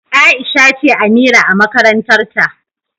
Aisha ce Amira a makarantar ta.